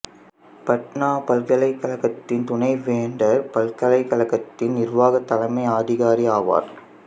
பட்னா பல்கலைக்கழகத்தின் துணைவேந்தர் பல்கலைக்கழகத்தின் நிர்வாக தலைமை அதிகாரி ஆவார்